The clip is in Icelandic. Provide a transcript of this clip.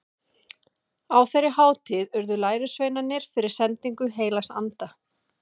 Á þeirri hátíð urðu lærisveinarnir fyrir sendingu heilags anda.